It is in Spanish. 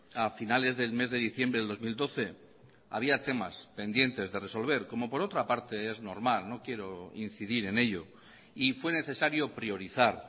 a finales del mes de diciembre del dos mil doce había temas pendientes de resolver como por otra parte es normal no quiero incidir en ello y fue necesario priorizar